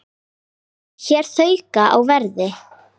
Áfram hér þrauka á verði.